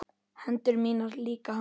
Hendur mínar líka hans.